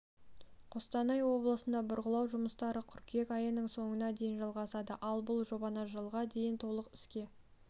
қостанай облысында бұрғылау жұмыстары қыркүйек айының соңына дейін жалғасады ал бұл жобаны жылға дейін толық іске